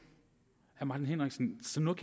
jeg martin henriksen